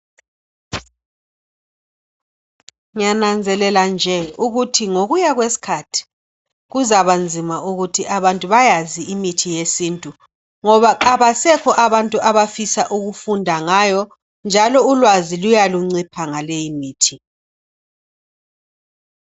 Ngiyananzelela nje ukuthi ngokuya kwesikhathi kuzaba nzima ukuthi abantu bayazi imithi yesintu ngoba abasekho abantu abafisa ukufunda ngayo njalo ulwazi luya luncipha ngaleyimithi.